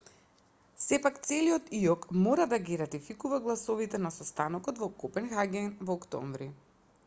сепак целиот иок мора да ги ратификува гласовите на состанокот во копенхаген во октомври